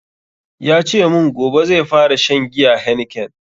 Yace mun gobe zai fara shan giyan heineken